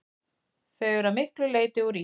Þau eru að miklu leyti úr ís.